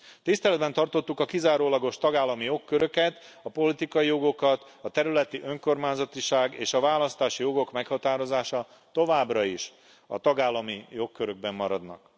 Tiszteletben tartottuk a kizárólagos tagállami jogköröket, a politikai jogokat a területi önkormányzatiság és a választási jogok meghatározása továbbra is a tagállami jogkörökben maradnak.